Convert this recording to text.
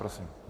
Prosím.